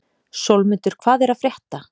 Sólmundur, hvað er að frétta?